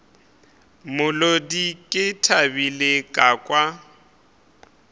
molodi ke thabile ka kwa